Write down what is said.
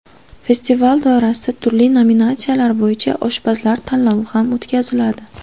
Festival doirasida turli nominatsiyalar bo‘yicha oshpazlar tanlovlari ham o‘tkaziladi.